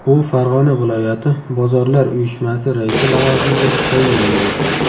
U Farg‘ona viloyati bozorlar uyushmasi raisi lavozimiga tayinlangan.